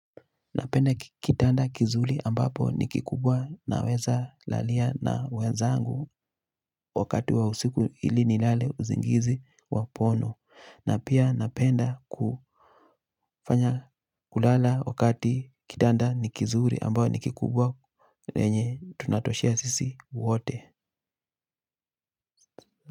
Napenda kitanda kizuri ambapo ni kikubwa naweza lalia na wezangu wakati wa usiku ili nilale usingizi wa pono na pia napenda kufanya kulala wakati kitanda ni kizuri ambapo ni kikubwa yenye tunatoshea sisi wote.